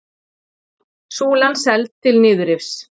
Súlan seld til niðurrifs